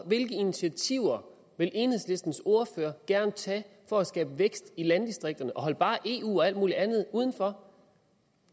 hvilke initiativer vil enhedslistens ordfører gerne tage for at skabe vækst i landdistrikterne og hold bare eu og alt muligt andet udenfor